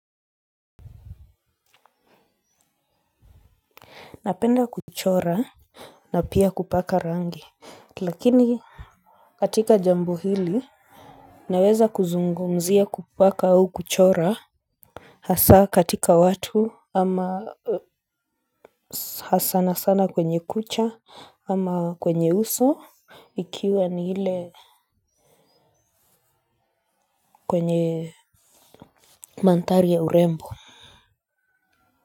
Napenda kuchora na pia kupaka rangi lakini katika jambo hili naweza kuzungumzia kupaka au kuchora. Hasa katika watu ama hasa sana sana kwenye kucha ama kwenye uso ikiwa ni ile kwenye manthari ya urembo.